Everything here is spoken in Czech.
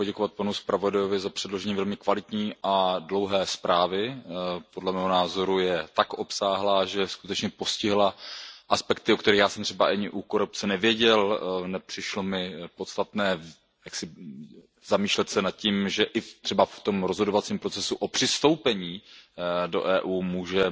Chci poděkovat panu zpravodaji za předložení velmi kvalitní a dlouhé zprávy. Podle mého názoru je tak obsáhlá, že skutečně postihla aspekty, o kterých já jsem třeba ani u korupce nevěděl. Nepřišlo mi podstatné zamýšlet se nad tím, že i třeba v rozhodovacím procesu o přistoupení do EU můžou